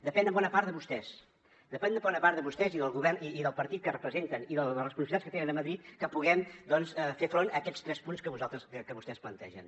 depèn en bona part de vostès depèn en bona part de vostès i del govern i del partit que representen i de les responsabilitats que tenen a madrid que puguem doncs fer front a aquests tres punts que vostès plantegen